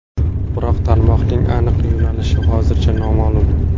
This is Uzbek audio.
Biroq tarmoqning aniq yo‘nalishi hozircha noma’lum.